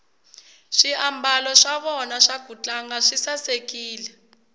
swiambalo swa vona swa kutlanga swi sasekile